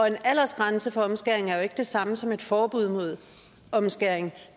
en aldersgrænse for omskæring er jo ikke det samme som et forbud mod omskæring